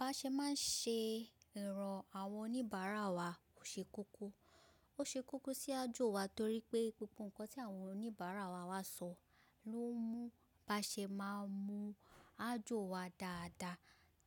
Baṣe máa ṣe ero àwọn oníbàárà wa ó ṣe kókó, ó ṣe kókó sí ájọ wa torí pé gbogbo nǹkan tí àwọn oníbàárà wa wá sọ̀ ló mú baṣe máa mu ájọ wa dáadáa